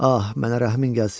Ah, mənə rəhmin gəlsin.